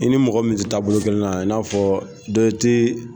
I ni mɔgɔ min tɛ taabolo kelen na i n'a fɔ.